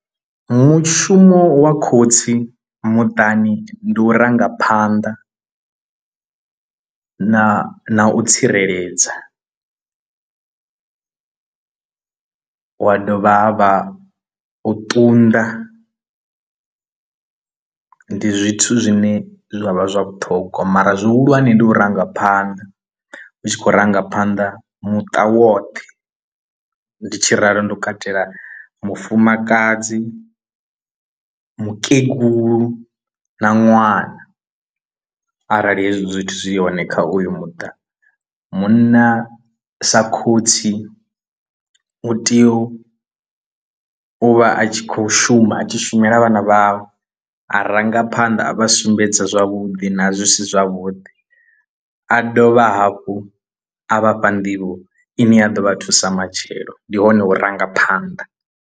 Mushumo wa khotsi muṱani ndi u rangaphanḓa na na u tsireledza wa dovha ha vha u ṱunḓa ndi zwithu zwine zwa vha zwa vhuṱhongwa mara zwihulwane ndi u rangaphanḓa hu tshi khou rangaphanḓa muṱa woṱhe ndi tshi ralo ndi u katela mufumakadzi, mukegulu na ṅwana arali hezwi zwithu zwi yone kha uyu muṱa. Munna sa khotsi u tea u u vha a tshi kho shuma a tshi shumela vhana vhawe a vharangaphanḓa a vha sumbedza zwavhuḓi na zwi si zwavhuḓi a dovha hafhu a vhafha nḓivho ine ya ḓo vha thusa matshelo ndi hone hu rangaphanḓa.